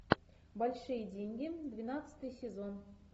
большие деньги двенадцатый сезон